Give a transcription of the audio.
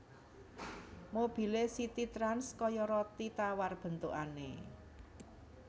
Mobile CitiTrans koyo roti tawar bentukane